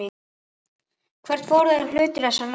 Hvert fór hluti þessa láns?